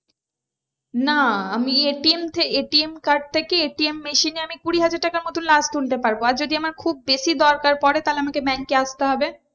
না আমি ATM ATM card থেকে ATM machine এ আমি কুড়ি হাজার টাকা মতোন last তুলতে পারবো আর যদি আমার খুব বেশি দরকার আমাকে bank এ আসতে হবে।